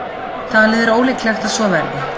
Talið er ólíklegt að svo verði.